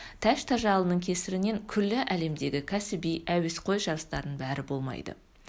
тәж тажалының кесірінен күллі әлемдегі кәсіби әуесқой жарыстардың бәрі болмайды